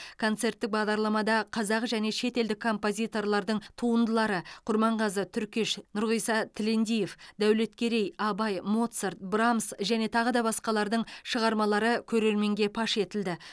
концерттік бағдарламада қазақ және шетелдік композиторлардың туындылары құрманғазы түркеш нұрғиса тілендиев дәулеткерей абай моцарт брамса және тағы басқалардың шығармалары көрерменге паш етілді